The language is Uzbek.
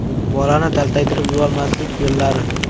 Bolani taltaytirib yubormaslik yo‘llari.